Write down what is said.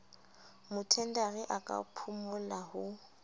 mothendari a ka phumola ho